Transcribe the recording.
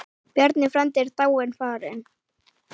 Bjarni frændi er dáinn, farinn.